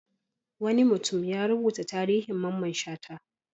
Wani mutum ya rubuta tarihin Mamman Shata.